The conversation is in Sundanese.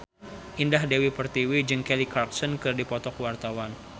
Indah Dewi Pertiwi jeung Kelly Clarkson keur dipoto ku wartawan